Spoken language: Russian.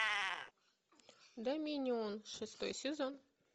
доминион шестой сезон